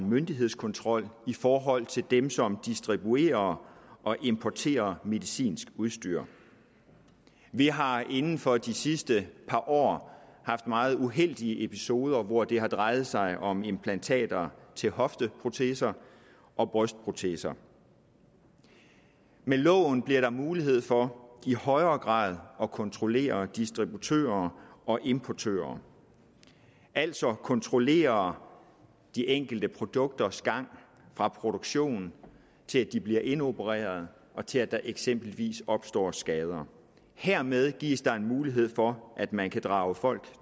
myndighedskontrol i forhold til dem som distribuerer og importerer medicinsk udstyr vi har inden for de sidste par år haft meget uheldige episoder hvor det har drejet sig om implantater som hofteproteser og brystproteser med lovene bliver der mulighed for i højere grad at kontrollere distributører og importører altså kontrollere de enkelte produkters gang fra produktionen til de bliver indopereret og til at der eksempelvis opstår skader hermed gives der mulighed for at man kan drage folk